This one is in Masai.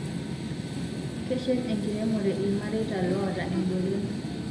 Keshet enkiremore ilmareta loota egolon